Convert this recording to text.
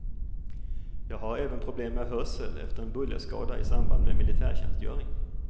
Jag har även problem med hörsel efter en bullerskada i samband med militärtjänstgöring.